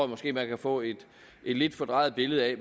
måske man kan få et lidt fordrejet billede af